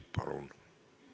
Palun!